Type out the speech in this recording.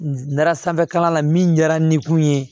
N taara sanfɛkalan la min kɛra n kun ye